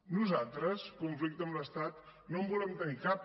nosaltres conflicte amb l’estat no en volem tenir cap